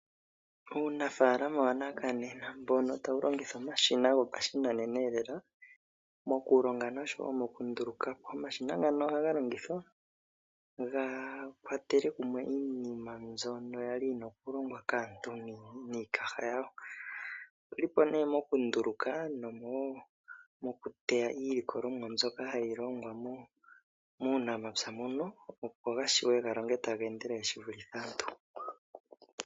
Uunafaalama wanakanena mbono tawu longitha omashina gopashinanena lela mokulonga noshowo mokunduluka po sha. Omashina ngano ohaga longithwa ga kwatele kumwe iinima mbyono ya li yi na okulongwa kaantu niikaha yawo. Oge li po nduno mokunduluka nomokuteya iilikolomwa mbyoka hayi longwa muunamapya moka, opo ga vule okulonga taga endelele ge vulithe aantu.